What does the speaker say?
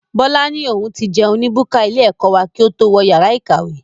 Bọlá ni òun ti jẹun ní búkà ilé ẹ̀kọ́ wá kí ó tó wọ yàrá ìkàwé.